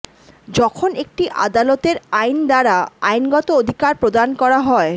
যখন একটি আদালতের আইন দ্বারা আইনগত অধিকার প্রদান করা হয়